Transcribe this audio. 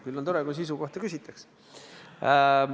Küll on tore, kui sisu kohta küsitakse.